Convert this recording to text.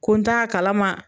Ko n t'a kalama